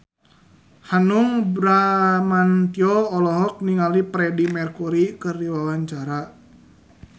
Hanung Bramantyo olohok ningali Freedie Mercury keur diwawancara